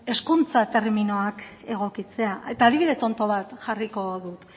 hezkuntza terminoak egokitzea eta adibide tonto bat jarriko dut